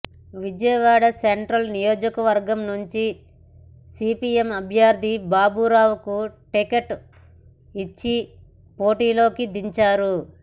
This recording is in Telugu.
విజయవాడ సెంట్రల్ నియోజకవర్గం నుంచి సిపియం అభ్యర్ధి బాబూరావుకు టిక్కెట్ ఇచ్చి పోటీలోకి దించారు